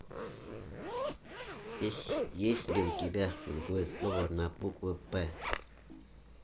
есть ли у тебя другое слово на букву п